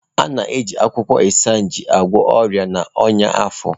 A na-eji akwụkwọ Isaneja agwọ ọrịa na ọnyá afọ.